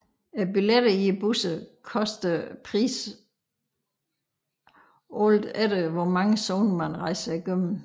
Billetterne i busserne koster priser alt efter hvor mange zoner man rejser igennem